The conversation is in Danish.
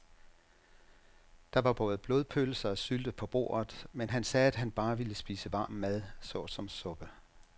Der var både blodpølse og sylte på bordet, men han sagde, at han bare ville spise varm mad såsom suppe.